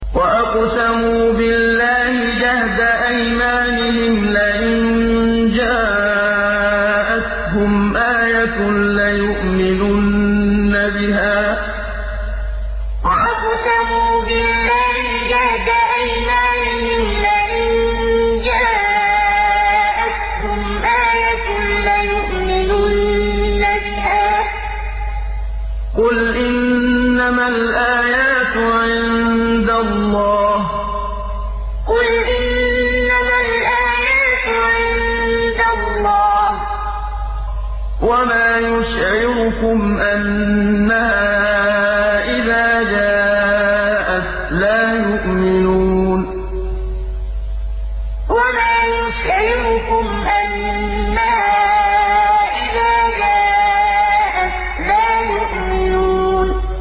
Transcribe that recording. وَأَقْسَمُوا بِاللَّهِ جَهْدَ أَيْمَانِهِمْ لَئِن جَاءَتْهُمْ آيَةٌ لَّيُؤْمِنُنَّ بِهَا ۚ قُلْ إِنَّمَا الْآيَاتُ عِندَ اللَّهِ ۖ وَمَا يُشْعِرُكُمْ أَنَّهَا إِذَا جَاءَتْ لَا يُؤْمِنُونَ وَأَقْسَمُوا بِاللَّهِ جَهْدَ أَيْمَانِهِمْ لَئِن جَاءَتْهُمْ آيَةٌ لَّيُؤْمِنُنَّ بِهَا ۚ قُلْ إِنَّمَا الْآيَاتُ عِندَ اللَّهِ ۖ وَمَا يُشْعِرُكُمْ أَنَّهَا إِذَا جَاءَتْ لَا يُؤْمِنُونَ